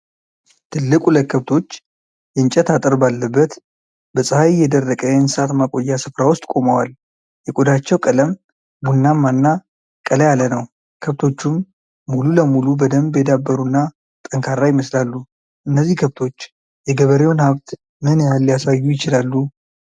ትልቅ ሁለት ከብቶች የእንጨት አጥር ባለበት በፀሐይ የደረቀ የእንስሳት ማቆያ ስፍራ ውስጥ ቆመዋል፤ የቆዳቸው ቀለም ቡናማ እና ቀላ ያለ ነው፣ ከብቶቹም ሙሉ ለሙሉ በደንብ የዳበሩና ጠንካራ ይመስላሉ። እነዚህ ከብቶች የገበሬውን ሀብት ምን ያህል ሊያሳዩ ይችላሉ?